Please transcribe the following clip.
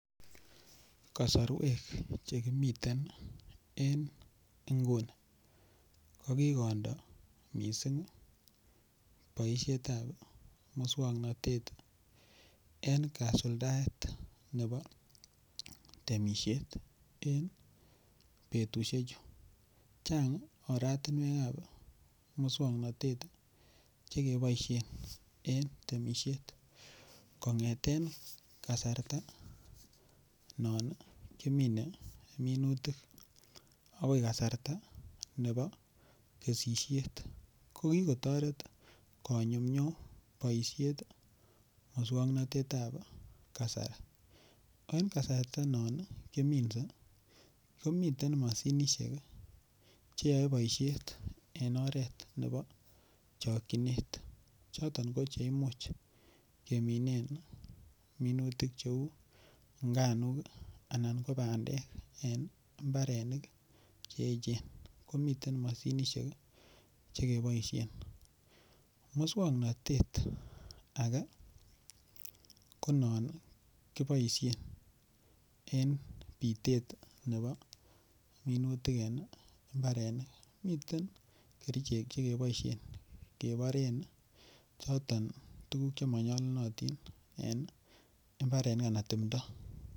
Kasarwek Che kimiten en nguni ko ko kondo mising boisiet ab moswoknatet en kasuldaet nebo temisiet en betusiechu chang oratinwek ab moswoknatet Che keboisien en temisiet kongeten kasarta non kimine minutik agoi kasarta ne bo kesisiet ko ki kotoret konyumnyum boisiet moswoknatet ab kasari en kasarta non kiminse komiten mashinisiek Che yoe boisiet en oret nebo chokyinet choton ko Che Imuch keminen minutik cheu nganuk anan ko bandek en mbarenik Che echen ko miten mashinisiek Che keboisien moswoknatet age non kiboisien en bitet nebo minutik en mbarenik miten kerichek Che keboisien keboren choton tuguk Che manyolunotin en mbarenik anan timdo